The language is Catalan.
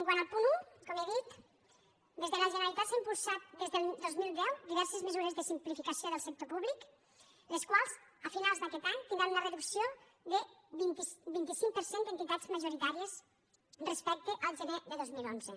quant al punt un com he dit des de la generalitat s’han impulsat des del dos mil deu diverses mesures de simplificació del sector públic les quals a finals d’aquest any tindran una reducció del vint cinc per cent d’entitats majoritàries respecte al gener de dos mil onze